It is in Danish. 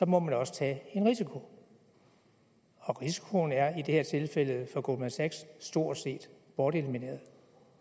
må man også tage en risiko og risikoen er i det her tilfælde for goldman sachs stort set bortelimineret